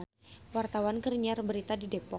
Wartawan keur nyiar berita di Depok